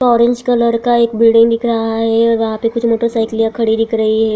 Orange colour का एक building दिख रहा है और वहां पे कुछ मोटर साइकिलया खड़ी दिख रही है।